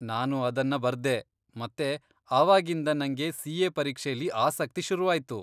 ನಾನು ಅದನ್ನ ಬರ್ದೆ ಮತ್ತೆ ಆವಾಗಿಂದ ನಂಗೆ ಸಿ.ಎ. ಪರೀಕ್ಷೆಲಿ ಆಸಕ್ತಿ ಶುರುವಾಯ್ತು.